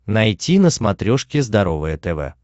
найти на смотрешке здоровое тв